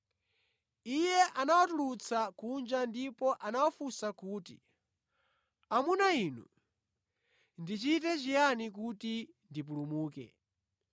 Iye anawatulutsa kunja ndipo anawafunsa kuti, “Amuna inu, ndichite chiyani kuti ndipulumuke?”